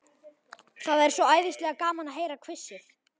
Það er svo æðislega gaman að heyra hvissið.